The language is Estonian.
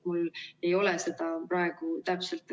Mul ei ole seda praegu täpselt.